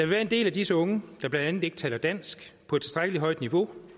være en del af disse unge der blandt andet ikke taler dansk på et tilstrækkelig højt niveau